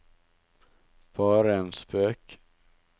bare en spøk